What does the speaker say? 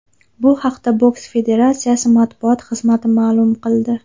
Bu haqda boks federatsiyasi matbuot xizmati ma’lum qildi .